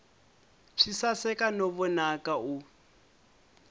swi saseka no vonaka u